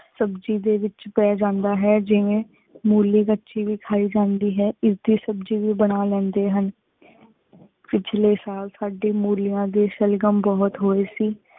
ਸਬ੍ਜ਼ੀ ਦੇ ਵਿਚ ਪੀ ਜਾਂਦਾ ਹੈ ਜੇਵੀ ਮੋਲੀ ਕਚੀ ਵੇ ਖਾਈ ਜਾਂਦੀ ਹਿਉ ਇਸ ਦੇ ਸਬ੍ਜ਼ੀ ਵੇ ਬਣਾ ਲੇੰਡੇ ਹਨ ਪਿਛਲੇ ਸਾਲ ਸਾਡੀ ਮੋਲਿਯਾਂ ਟੀ ਸਲ੍ਜਾਮ ਬੁਹਤ ਹੋਏ ਸੇ